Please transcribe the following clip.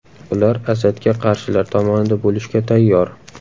Ular Asadga qarshilar tomonida bo‘lishga tayyor.